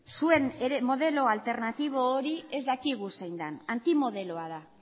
zuen modelo alternatibo hori ez dakigu zein den antimodeloa da